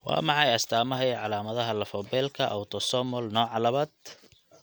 Waa maxay astaamaha iyo calaamadaha lafo-beelka autosomal nooca labad?